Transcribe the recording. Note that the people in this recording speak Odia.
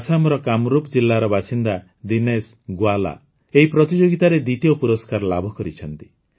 ଆସାମର କାମରୂପ୍ ଜିଲ୍ଲାର ବାସିନ୍ଦା ଦିନେଶ ଗୋୱାଲା ଏହି ପ୍ରତିଯୋଗିତାରେ ଦ୍ୱିତୀୟ ପୁରସ୍କାର ଲାଭ କରିଛନ୍ତି